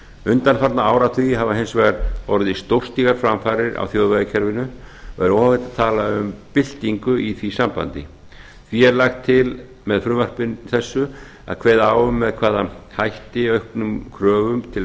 undanfarna áratugi hafa hins vegar orðið stórstígar framfarir á þjóðvegakerfinu og er óhætt að tala um byltingu í því sambandi því er lagt til með frumvarpi þessu að kveða á um með hvaða hætti auknum kröfum til